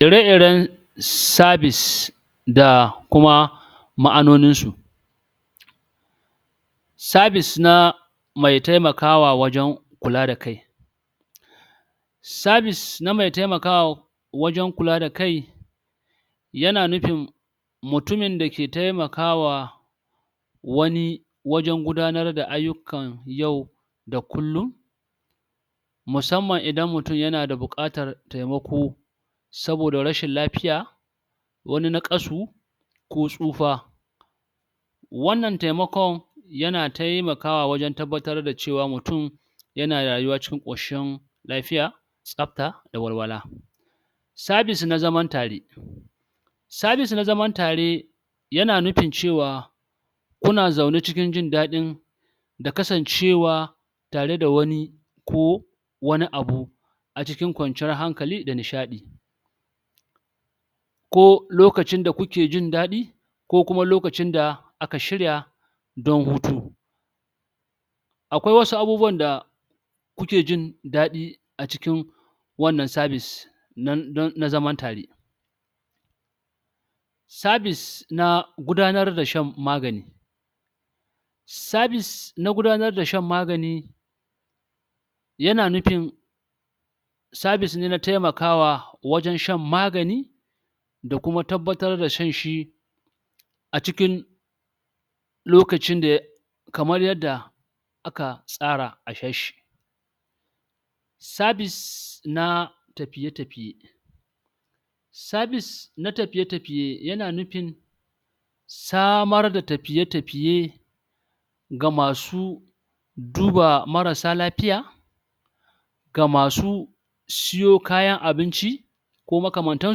ire iren serbis da kuma ma'anonin su serbis na mai taimakwa wajen kula da kai serbis na mai taimakawa wajen kula da kai yana nufin mutumin da ke taimakawa wani wajen gudanar da aiyukan yau da kullun musamman idan mutum yana da bukatan taimako saboda rashin lafiya wani naƙasu ko tsufa wannan taimakon yana taimakawa wajen tabbatar da cewa mutum yana rayuwa cikin koshin lafiya tsafta da walwala serbis na zaman tare serbis na zaman tare yana nufin cewa kuna zaune ciin jindadin da kasancewa tare da wani ko wani abu a cikin kwanciyar hankali da nishaɗi ko lokacin da kuke jindadi ko kuma lokacin da aka shirya don hutu akwai wasu abubuwa da kuke jindadi a cikin wannan serbis na zaman tare serbis na gudanar da shan magani serbis na gudanar da shan magani yana nufin serbis ne na taimakawa wajen shan magani da kuma tabbatar da shan shi a cikin lokacin da ya kamar yadda aka tsara a sha shi serbis na tafiye tafiye serbis na tafiy tafiye yana nufin samar da tafiye tafiye ga masu duba marasa lafiya ga masu siyo kayan abinci ko makamantan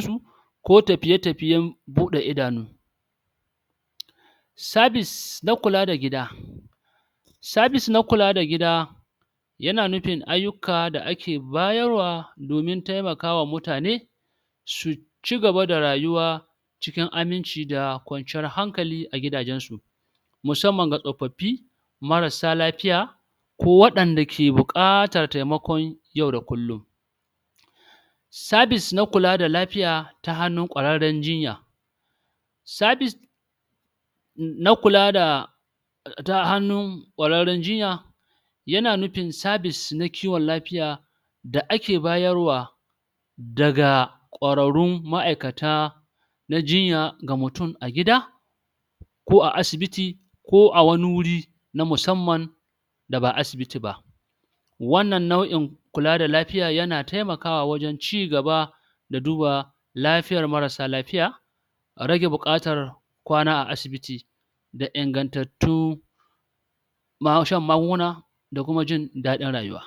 su ko tafiye tafiyen buda idanu serbis na kula da gida serbis na kula da gida yana nufin aiyuka da ake bayar wa domin taimaka wa mutane su cigaba da rayuwa cikin aminci da kwanciyan hankali a gidajen su musamman ga tsofafi mara sa lafiya ko wadan dake bukatar taimakon yau da kullun serbis na kula da lafiya ta hannun ƙwararren jinya serbis na kula da ta hannun ƙwararren jinya yana nufin serbis na ciwon lafiya da ake bayar wa daga ƙwarrarun ma'aikata na jinya ga mutum a gida ko a asibiti ko a wani wuri na musamman da ba asibiti ba wannan nau'in kula da lafiya yana taimakawa wajen cigaba da duba lafiyar mara sa lafiya a rage bukatar kwana a asibiti da ingantattun shan magunguna da kuma jin dadin rayuwa